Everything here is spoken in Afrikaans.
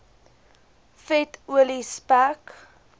vet olie spek